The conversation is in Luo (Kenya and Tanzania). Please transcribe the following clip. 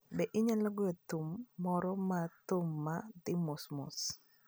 Be inyalo goyo thum moro mar thum ma dhi mos mos?